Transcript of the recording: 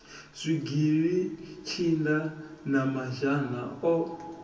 zwigili tshinda na mazhana o